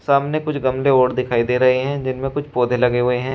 सामने कुछ गमले और दिखाई दे रहे हैं जिनमें कुछ पौधे लगे हुए हैं।